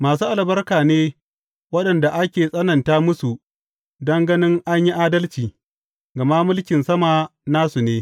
Masu albarka ne waɗanda ake tsananta musu don gani an yi adalci, gama mulkin sama nasu ne.